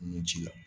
Nun ci la